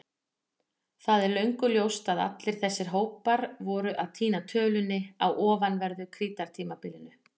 Það er löngu ljóst að allir þessir hópar voru að týna tölunni á ofanverðu Krítartímabilinu.